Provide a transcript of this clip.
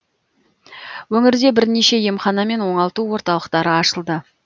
өңірде бірнеше емхана мен оңалту орталықтары ашылды